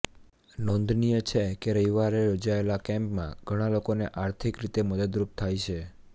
નોંધનીય છે કે રવિવારે યોજાયેલા કેમ્પમાં ઘણા લોકોને આર્થિક રીતે મદદરૂપ થાય છે